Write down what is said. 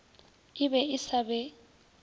e be e sa be